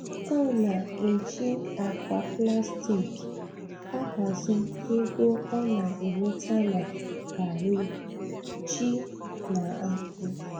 Ọ na-eji akpa plastik ahazi ego ọ na enweta na garri, ji, na akpụ.